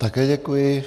Také děkuji.